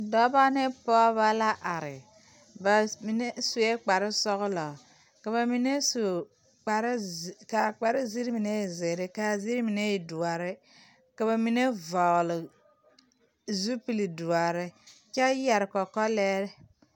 Dɔbɔ ne pɔgebɔ la are ba mine sue kparresɔglɔ ka ba mine su kparreze kaa kparre ziiri mine e zeere kaa ziiri mine e doɔre ka ba mine vɔgli zupil doɔre kyɛ yɛre kɔkɔlɛɛre.